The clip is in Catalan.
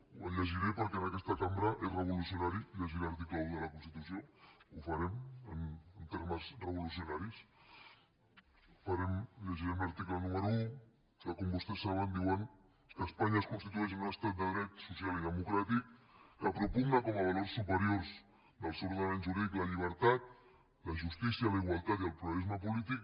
el llegiré perquè en aquesta cambra és revolucionari llegir l’article un de la constitució ho farem en termes revolucionaris llegirem l’article número un que com vostès saben diu que espanya es constitueix en un estat de dret social i democràtic que propugna com a valors superiors del seu ordenament jurídic la llibertat la justícia la igualtat i el pluralisme polític